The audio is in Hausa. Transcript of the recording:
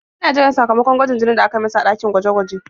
Yana jiran sakamakon gwajin jini da aka yi masa a ɗakin gwaje-gwaje.